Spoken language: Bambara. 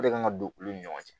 O de kan ka don olu ni ɲɔgɔn cɛ